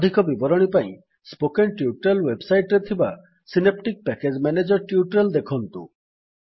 ଅଧିକ ବିବରଣୀ ପାଇଁ ସ୍ପୋକେନ୍ ଟ୍ୟୁଟୋରିଆଲ୍ ୱେବସାଇଟ୍ ରେ ଥିବା ସିନେପ୍ଟିକ୍ ପ୍ୟାକେଜ୍ ମ୍ୟାନେଜର୍ ଟ୍ୟୁଟୋରିଆଲ୍ ଦେଖନ୍ତୁ